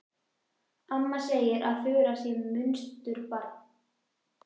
Amma segir að Þura sé munsturbarn.